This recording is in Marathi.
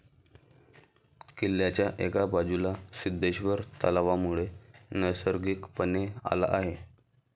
किल्ल्याच्या एका बाजूला सिद्धेश्वर तलावामुळे नैसर्गिकपणे आला आहे.